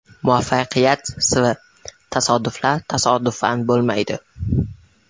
Muvaffaqiyat siri: Tasodiflar tasodifan bo‘lmaydi.